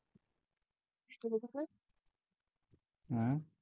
हम्म